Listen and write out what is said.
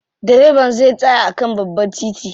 Direban zai tsaya a kan babban titi.